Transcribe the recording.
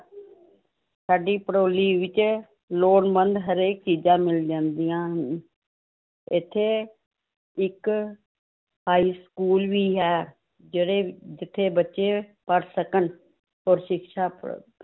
ਸਾਡੀ ਭੜੋਲੀ ਵਿੱਚ ਲੋੜਵੰਦ ਹਰੇਕ ਚੀਜ਼ਾਂ ਮਿਲ ਜਾਂਦੀਆਂ ਹਨ, ਇੱਥੇ ਇੱਕ high school ਵੀ ਹੈ, ਜਿਹੜੇ ਜਿੱਥੇ ਬੱਚੇ ਪੜ੍ਹ ਸਕਣ, ਔਰ ਸਿਕਸ਼ਾ ਪ੍ਰਾਪਤ